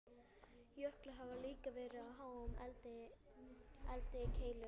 Jöklarnir hafa líklega verið á háum eldkeilum.